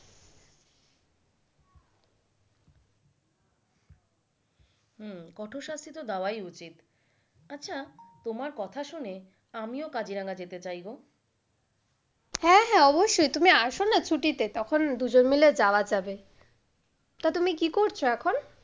হম কঠোর শাস্তি তো দেওয়াই উচিত। আচ্ছা তোমার কথা শুনে আমিও কাজিরাঙা যেতে চাই গো। হ্যাঁ হ্যাঁ অবশ্যই তুমি আসো না ছুটিতে তখন দুজনে মিলে যাওয়া যাবে। তা তুমি কি করছো এখন?